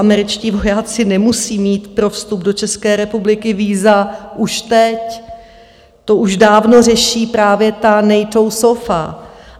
Američtí vojáci nemusí mít pro vstup do České republiky víza už teď, to už dávno řeší právě ta NATO SOFA.